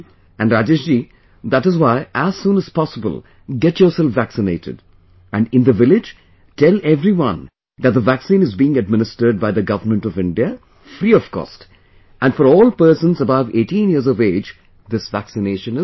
And Rajesh ji, that is why, as soon as possible, get yourself vaccinated...and in the village, tell everyone that the vaccine is being administered by the Government of India, free of cost...and for all persons above 18 years of age, this vaccination is free